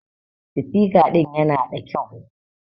Sitika ɗin ƴana ɗa ƙyau.